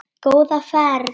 Góða ferð.